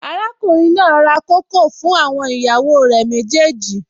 Arákùnrin náà ra kókò fún àwọn ìyàwó rẹ̀ méjèèjì